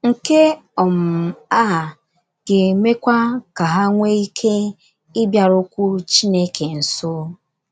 Nke um a ga - emekwa ka ha nwee ike ịbịarukwu Chineke nso.